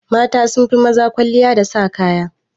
Mata sunfi maza kwalliya da sa kaya.